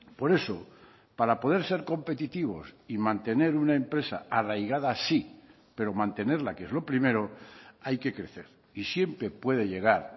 por eso para poder ser competitivos y mantener una empresa arraigada sí pero mantenerla que es lo primero hay que crecer y siempre puede llegar